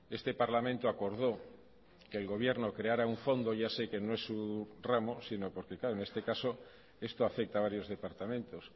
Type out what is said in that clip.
este parlamento acordó que el gobierno creara un fondo ya sé que no es su ramo sino porque claro en este caso esto afecta a varios departamentos